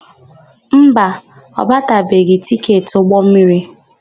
Mba, ọ gbatabeghị tịketị ụgbọmmiri.